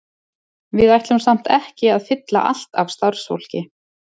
Við ætlum samt ekki að fylla allt af starfsfólki.